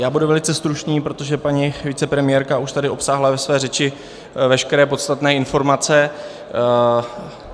Já budu velice stručný, protože paní vicepremiérka už tady obsáhla ve své řeči veškeré podstatné informace.